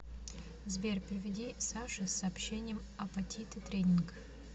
сбер переведи саше с сообщением апатиты тренинг